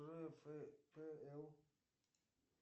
рфпл